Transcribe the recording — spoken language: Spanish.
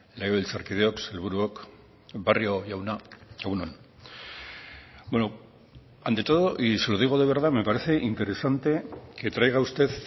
legebiltzarkideok sailburuok barrio jauna egun on ante todo y se lo digo de verdad me parece interesante que traiga usted